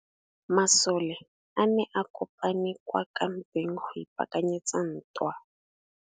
Masole a ne a kopane kwa kampeng go ipaakanyetsa ntwa.